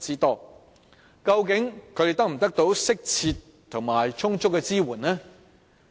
究竟他們能否獲得適切和充足的支援呢？